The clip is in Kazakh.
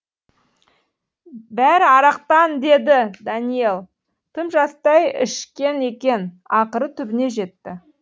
бәрі арақтан деді дәниел тым жастай ішкен екен ақыры түбіне жетті